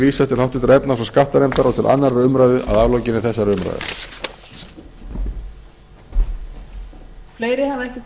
vísað til háttvirtrar efnahags og skattanefndar og til annarrar umræðu að aflokinni þessari umræðu